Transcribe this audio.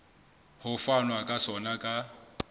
ho fanwa ka sona ka